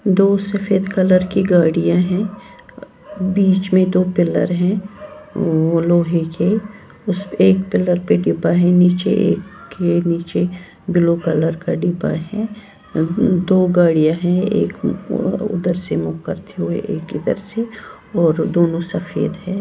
दो सफेद कलर की गाड़ियां हैं बीच में दो पिलर हैं लोहे के उस एक पिलर पे डिब्बा है नीचे एक के नीचे ब्लू कलर का डिब्बा है दो गाड़ियां हैं एक उधर से मुख करते हुए एक इधर से और दोनों सफेद हैं।